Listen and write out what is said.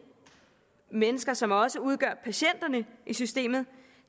mennesker som også udgør patienterne i systemet